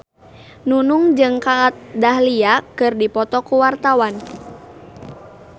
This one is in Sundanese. Nunung jeung Kat Dahlia keur dipoto ku wartawan